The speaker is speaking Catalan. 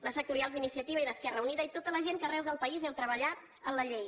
les sectorials d’iniciativa i d’esquerra unida i tota la gent que arreu del país heu treballat en la llei